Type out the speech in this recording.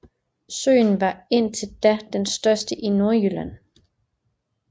Søen var indtil da den største i Nordjylland